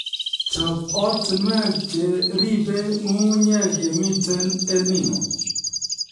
Chob ortinwek che riibei nyung'unyek yemitei EL Nino